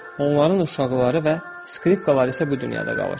Onların uşaqları və skripkaları isə bu dünyada qalır.